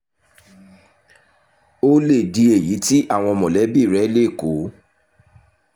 ó lè di èyí tí àwọn mọ̀lẹ́bí rẹ̀ lè kó